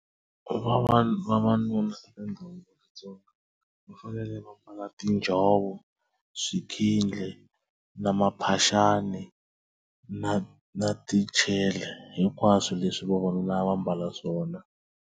Ku va vanhu vavanuna tindhawu vaTsonga va fanele va mbala tinjhovo swikhindli na maphaxani na na tichele hinkwaswo leswi vavanuna a va mbala swona.